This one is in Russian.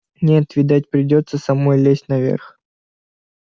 нет видать придётся самой лезть наверх